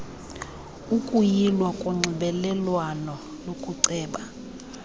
ukuyilwa konxibelelwano lokuceba